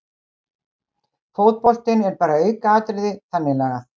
Fótboltinn er bara aukaatriði þannig lagað